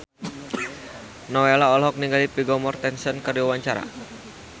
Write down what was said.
Nowela olohok ningali Vigo Mortensen keur diwawancara